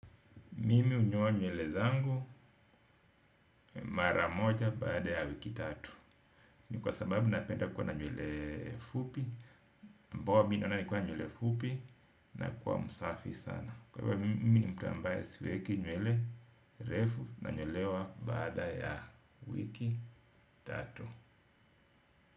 Mimi hunyoa nywele zangu mara moja baada ya wiki tatu. Ni kwa sababu napenda kuwa na nywele fupi. Poa mimi naona nikiwa na nywele fupi nakuwa msafi sana. Kwa hivo mimi ni mtu ambaye siweki nywele refu nanyolewa baada ya wiki tatu.